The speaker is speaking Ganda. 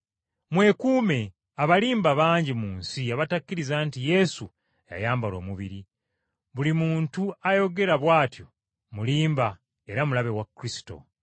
Mwekuume, abalimba bangi mu nsi abatakkiriza nti Yesu yayambala omubiri. Buli muntu ayogera bw’atyo mulimba era mulabe wa Kristo.